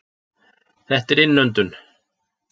Þetta er innöndun.